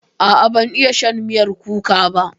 A'a ban iya shan miyar kuka ba.